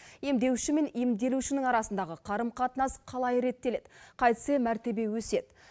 емдеуші мен емделушінің арасындағы қарым қатынас қалай реттеледі қайтсе мәртебе өседі